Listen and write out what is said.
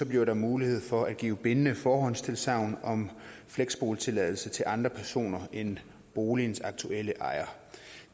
bliver der mulighed for at give bindende forhåndstilsagn om fleksboligtilladelse til andre personer end boligens aktuelle ejere